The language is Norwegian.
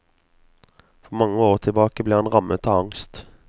For mange år tilbake ble han rammet av angst.